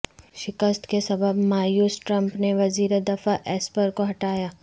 شکست کے سبب مایوس ٹرمپ نے وزیر دفاع ایسپر کو ہٹایا